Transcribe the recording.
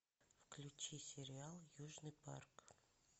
включи сериал южный парк